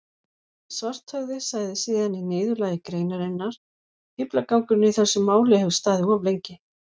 Svarthöfði sagði síðan í niðurlagi greinarinnar: Fíflagangurinn í þessu máli hefur staðið of lengi.